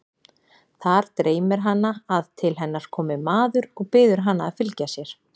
Þar dreymir hana að til hennar komi maður og biður hana að fylgja sér.